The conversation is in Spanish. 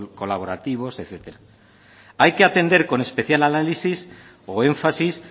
colaborativos etcétera hay que atender con especial análisis o énfasis